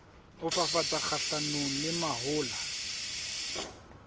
ho fafatsa kgahlanong le mahola